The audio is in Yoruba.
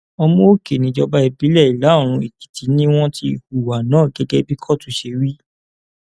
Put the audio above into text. òmuòkè níjọba ìbílẹ ìlàoòrùn èkìtì ni wọn ti hùwà náà gẹgẹ bí kóòtù ṣe wí